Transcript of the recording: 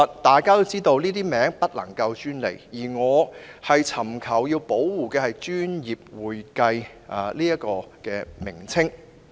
大家也知道，這些名詞是不能夠專利化的，而我尋求保護的只是"專業會計"的稱謂。